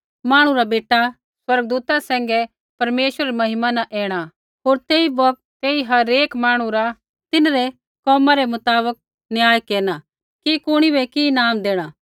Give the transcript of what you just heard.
मांहणु रा बेटा स्वर्गदूता सैंघै परमेश्वरै री महिमा न ऐणा होर तेई बौगत तेई हर एक मांहणु रा तिन्हरै कर्मा रै मुताबक फैसला केरना कि कुणी बै कि ईनाम देणा